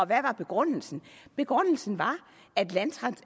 hvad var begrundelsen begrundelsen var